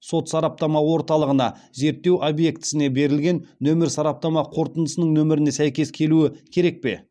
сот сараптама орталығына зерттеу объектісіне берілген нөмір сараптама қорытындысының нөміріне сәйкес келуі керек пе